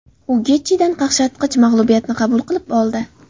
U Getjidan qaqshatqich mag‘lubiyatni qabul qilib oldi.